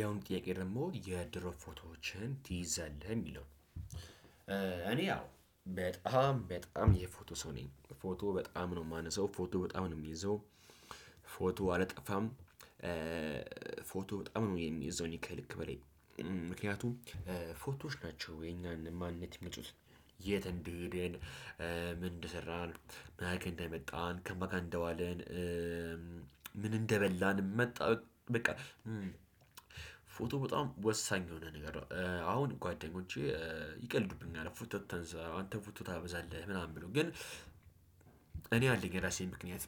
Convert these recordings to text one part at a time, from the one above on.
ያውም ጥያቄ ደግሞ የድሮ ፎቶዎችን ትይዛለህ የሚለው እኔ? አዎ በጣም የፎቶ ሰው ነኝ። ፎቶ በጣም ነው የማነሳው ፎቶ በጣም ነው የሚይዘው። ፎቶ አላጠፋም። ፎቶ በጣም ነው የምይዘው ከልክ በላይ። ምክንያቱም ፎቶዎች ናቸው የኛን ማንነት ይመጡት። የት እንድሄደን? ምን እንደሰራን? ማ ጋ እንደመጣን ከማካ እንደዋለን? ምን እንደበላን መጣ? በቃ። ፎቶ በጣም ወሳኝ የሆነ ነገር። አሁን ጓደኞቼ ይቀልዱብኛል ፎቶ አታንሳ አንተ ፎቶ ታበዛለህ ምናምን ብሎ ግን። እኔ አለኝ የራሴን ምክንያት።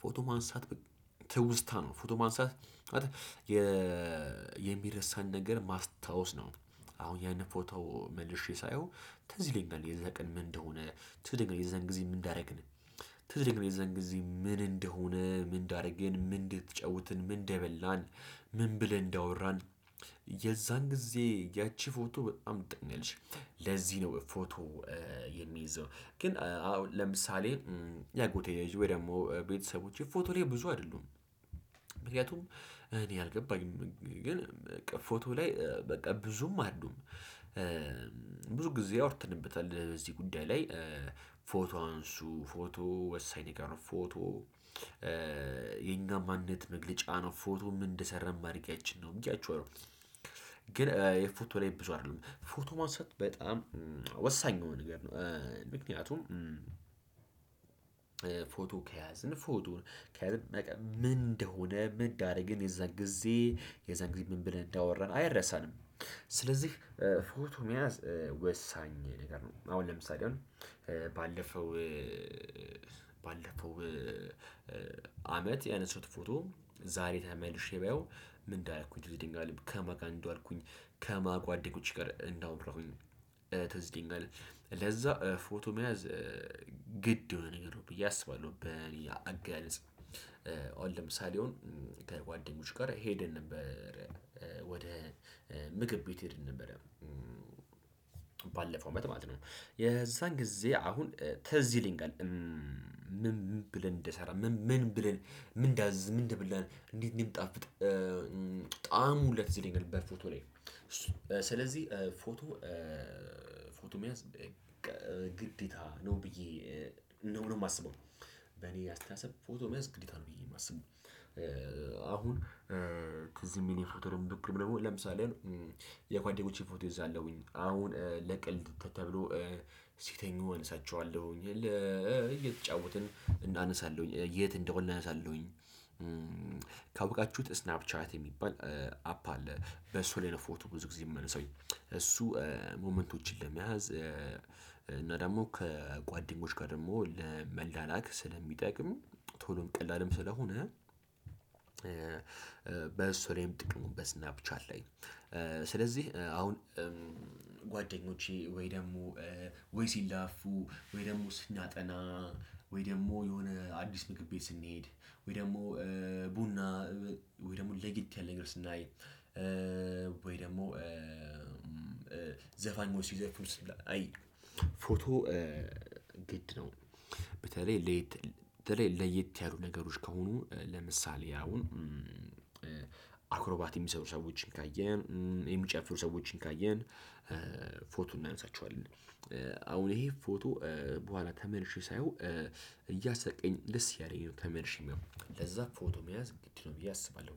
ፎቶ ማንሳት ትውስታ ነው። ፎቶ ማንሳት የሚረሳን ነገር ማስታወስ ነው። አሁን ያን ፎቶ መልሼ ሳየው ትዝ ይለኛል የዛ ቀን ምን እንደሆነ ትዝ ይለኛል የዛን ጊዜ ምን እንዳደረግን። ትዝ ይለኛል ደግሞ የዛን ጊዜ ምን እንደሆነ ምን እንዳደርገን ምን እንድትጫውትን ምን እንደበላን ምን ብለን እንዳወራን። የዛን ጊዜ ያቺ ፎቶ በጣም ጥንልሽ ለዚህ ነው ፎቶ የሚይዘው። ግን አሁን ለምሳሌ ያጎቴ ወይ ደግሞ ቤተሰቦቼ ፎቶ እኔ ብዙ አይደሉም። ምክንያቱም እኔ አልገባኝም ግን ፎቶ ላይ በቃ ብዙም አይደሉም። ብዙ ጊዜ አውርተንበታል በዚህ ጉዳይ ላይ። ፎቶ አንሱ ፎቶ ወሳኝ ጋር ነው ፎቶ የኛ ማንነት መግለጫ ነው። ፎቶ ምን እንደሰራ ማድረጊያችን ነው እንጂ አይደለም ነው። ግን የፎቶ ላይ ብዙ አይደለም ፎቶ ማውሰድ በጣም ወሳኝ የሆነ ነገር ነው። ምክንያቱም ፎቶ ከያዝን ፎቶ ከያዝን ምን እንደሆነ ምን እንዳደረገን የዛን ጊዜ የዛን ጊዜ ምን ብለን እንዳወራን አይረሳንም። ስለዚህ ፎቶ መያዝ ወሳኝ ነገር ነው። አሁን ለምሳሌ አሁን ባለፈው ባለፈው አመት ያነሳሁት ፎቶ ዛሬ ተመልሼ ባየው ምን እንዳረኩኝ ድንጋል ከማን ጋር እንደዋልኩኝ ከማ ጓደኞች ጋር እንዳወራሁኝ ትዝ ይለኛል። ለዛ ፎቶ መያዝ ግድ የሆነ ነገር ነው። ብዬ አስባለሁ በሌላ አገላለጽ አሁን ለምሳሌ የሆነ ከጓደኞች ጋር ሄደን ነበር ወደ ምግብ ቤት ሄደን ነበር። ባለፈው አመት ማለት ነው የዛን ጊዜ አሁን ትዝ ይለኛል። ምን ብለን እንደሰራ ምን ብለን ምን እንዳዝዝ ምን እንደበላን እንዴት እንደሚጣፍጥ። በጣም ሁለት ላይ ገልበር ፎቶ ላይ እሱ ስለዚህ ፎቶ ፎቶ መያዝ በቃ ግዴታ ነው ብዬ ነው የማስበው። በኔ አስተያየት ፎቶ መያዝ ግዴታ ነው ብዬ የማስበው። አሁን ከዚህም የፎቶ ደግሞ ለምሳሌ የጓደኛቼን ፎቶ እይዛለሁኝ አሁን ለቀልድ ተብሎ ሲተኙ እነሳቸዋለሁኝ የለ እየተጫወትን እናነሳለሁኝ የት እንደሆነ እናነሳለሁኝ። ካውቃችሁት ስናፕ ቻት የሚባል አፕ አለ በሱ ላይ ነው ፎቶ ብዙ ጊዜ የምነሳው። እሱ ሞመንቶችን ለመያዝ እና ደግሞ ከጓደኞች ጋር ደግሞ ለመላላክ ስለሚጠቅም ቶሎም ቀላልም ስለሆነ። በሱላይም ጥቅሙ በስናፕቻት ላይ። ስለዚህ አሁን ወይ ደግሞ ወይ ሲላፉ ወይ ደግሞ ስናጠና ወይ ደግሞ የሆነ አዲስ ምግብ ቤት ስንሄድ ወይ ደግሞ ቡና ወይ ደግሞ ለየት ያለ ነገር ስናይ። ደግሞ ዘፋኝ ሲዘፉኑ አይ ፎቶ ግድ ነው። በተለይ ለየት ለየት ያሉ ነገሮች ከሆኑ ለምሳሌ አሁን አክሮባት የሚሰሩ ሰዎችን ካየን የሚጨፍሩ ሰዎችን ካየን እናንሳቸዋለን። አሁን ይሄ ፎቶ በኋላ ተመልሼ ሳየው እያሰቀኝ ደስ ያለኝ ተመርሽም ለዛ ፎቶ መያዝ ግድ ነው ብዬ አስባለሁ።